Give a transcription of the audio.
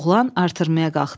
Oğlan artırmaya qalxdı.